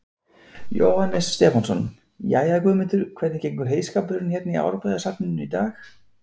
Jóhannes Stefánsson: Jæja, Guðmundur, hvernig gengur heyskapurinn hérna í Árbæjarsafninu í dag?